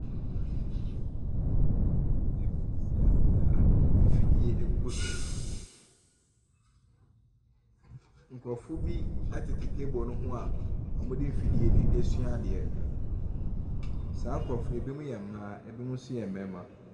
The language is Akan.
Table bi si ha sei a mfidie gu so. Nkurɔfoɔ bi tete table no ho a wɔde mfidie no resua adeɛ. Saa nkurɔfoɔ yi, ebinom yɛ mmaa, ebinom nso yɛ mmarima.